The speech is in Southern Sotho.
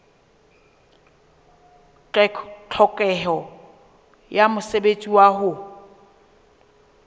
tlhokeho ya mosebetsi wa ho